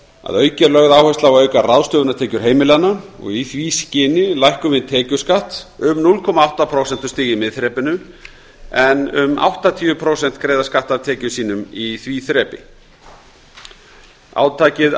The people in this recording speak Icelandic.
að auki er lögð áhersla á að auka ráðstöfunartekjur heimilanna og í því skyni lækkum við tekjuskatt um núll komma átta prósentustig í miðþrepinu en um áttatíu prósent greiða skatt af tekjum sínum í því þrepi átakið